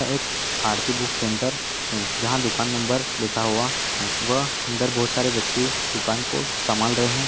एक Aarti book centre है जहाँ दुकान नंबर लिखा हुआ है वह अंदर बहोत सारे व्यक्ति दुकान को संभाल रहे --